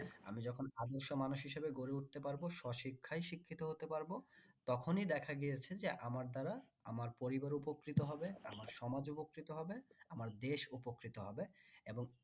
আমি যখন আদর্শ মানুষ হিসিবে গড়ে উঠতে পারবো স্বশিক্ষায় শিক্ষিত হতে পারবো তখনই দেখা গিয়েছে যে আমার দ্বারা আমার পরিবার উপকৃত হবে আমার সমাজ উপকৃত হবে আমার দেশ উপকৃত হবে এবং